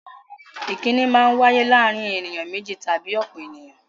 Ìkínni Maa ń wáyé láàárín ènìyàn méjì tàbí ọ̀pọ̀ ènìyàn